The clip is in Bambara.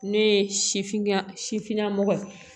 Ne ye sifinna sifinna mɔgɔ ye